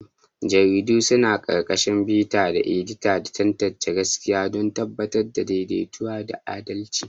Jaridu suna ƙarƙashin bitar edita da tantance gaskiya don tabbatar da daidaito da adalci.